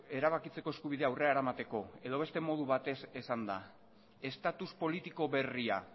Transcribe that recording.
erabakitzeko eskubidea aurrera eramateko edo beste modu batez esanda estatus politiko berria